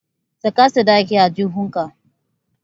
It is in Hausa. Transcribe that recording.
Saka sadakin a aljihunka.